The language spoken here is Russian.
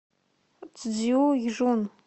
цзюйжун